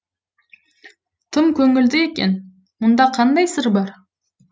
тым көңілді екен мұнда қандай сыр бар